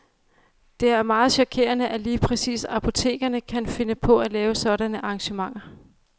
Det er meget chokerende, at lige præcis apotekerne kan finde på at lave sådanne arrangementer.